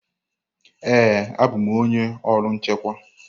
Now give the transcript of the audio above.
Ee, abụ m onye ọrụ nchịkwa.